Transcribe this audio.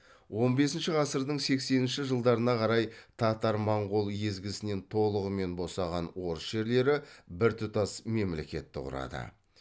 он бесінші ғасырдың сексенінші жылдарына қарай татар моңғол езгісінен толығымен босаған орыс жерлері біртұтас мемлекетті кұрады